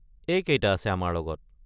এইকেইটা আছে আমাৰ লগত।